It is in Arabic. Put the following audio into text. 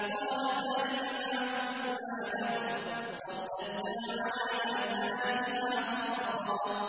قَالَ ذَٰلِكَ مَا كُنَّا نَبْغِ ۚ فَارْتَدَّا عَلَىٰ آثَارِهِمَا قَصَصًا